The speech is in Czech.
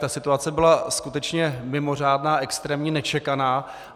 Ta situace byla skutečně mimořádná, extrémní, nečekaná.